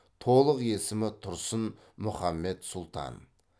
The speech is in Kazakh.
толық есімі тұрсын мүхаммед сұлтан